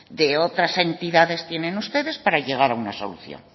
de otras entidades tienen ustedes para llegar a una solución